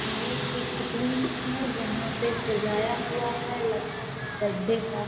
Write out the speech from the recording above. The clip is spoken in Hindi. ये एक रूम है जहां पे सजाया हुआ है लगता है बड़दे का --